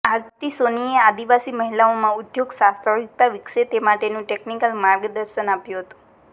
આરતી સોનીએ આદિવાસી મહિલાઓમાં ઉદ્યોગ સાહસિકતા વિકસે તે માટેનું ટેકનિકલ માર્ગદર્શન આપ્યું હતું